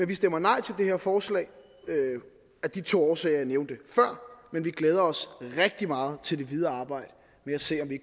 vi stemmer nej til det her forslag af de to årsager jeg nævnte før men vi glæder os rigtig meget til det videre arbejde med at se om vi